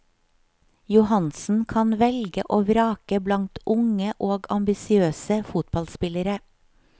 Johansen, kan velge og vrake blant unge og ambisiøse fotballspillere.